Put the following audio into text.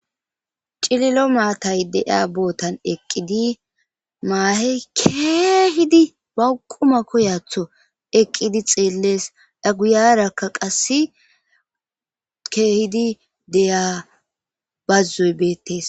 cililo maatay de7a bootan eqqidi maahey keehidi bauquma koyatho eqqidi xeellees aguyarakka qasse keehidi deya bazzuy beettes